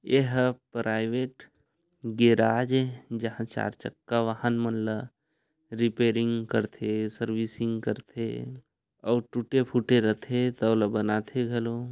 यह एक private garage है जहाँ चार चक्का वाहन मन ला रिपेरींग करतथे सर्विसिंग करथे और टूटे फूटे रथे तौला बनाथे--